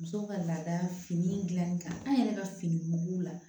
Musow ka laada fini dilanni kan an yɛrɛ ka fini mugu la